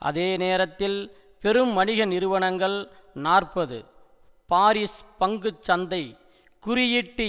அதே நேரத்தில் பெரும் வணிகநிறுவனங்கள் நாற்பது பாரிஸ் பங்கு சந்தை குறியீட்டு